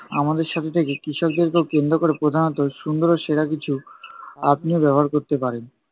আমাদের সাথে থেকে কৃষকদেরকেও কেন্দ্র ক'রে প্রদানত সুন্দর ও সেরা কিছু আপনিও ব্যবহার করতে পারেন।